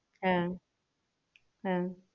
হ্যাঁ হ্যাঁ